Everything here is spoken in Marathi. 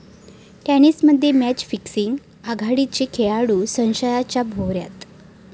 टेनिसमध्ये मॅच फिक्सिंग? आघाडीचे खेळाडू संशयाच्या भोवऱ्यात